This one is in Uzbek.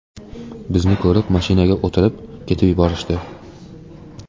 Bizni ko‘rib, mashinaga o‘tirib, ketib yuborishdi.